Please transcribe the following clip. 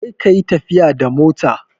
Kar ka yi tafiya da mota!